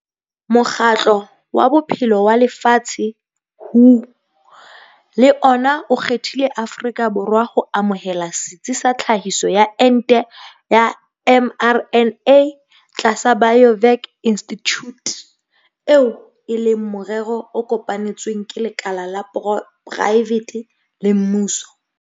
Mokgatlo wa Bophelo wa Lefatshe, WHO, le ona o kgethile Afrika Borwa ho amohela setsi sa tlhahiso ya ente ya mRNA tlasa Biovac Institute, eo e leng morero o kopanetsweng ke lekala la poraefete le mmuso.